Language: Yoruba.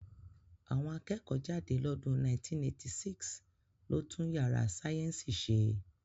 Àwọn akẹ́kọ̀ọ́ jáde lọ́dún 1986 ló tún yàrá sáyẹ́ǹsì ṣe